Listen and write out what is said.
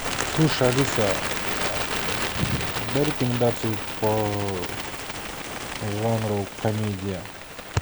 слушай алиса дай рекомендацию по жанру комедия